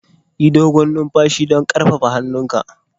Yi dogon numfashi don ƙarfafa hunhunka.